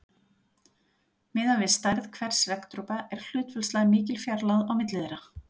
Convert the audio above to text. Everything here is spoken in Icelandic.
Miðað við stærð hvers regndropa er hlutfallslega mikil fjarlægð á milli þeirra.